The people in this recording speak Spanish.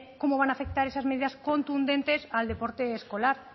cómo van a afectar esas medidas contundentes al deporte escolar